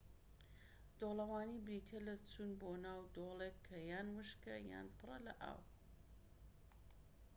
دۆڵەوانی بریتیە لە چوون بۆ ناو دۆڵێك کە یان وشکە یان پڕە لە ئاو